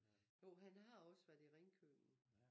Jo han har også været i Ringkøbing